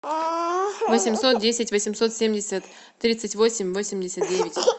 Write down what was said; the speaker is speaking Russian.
восемьсот десять восемьсот семьдесят тридцать восемь восемьдесят девять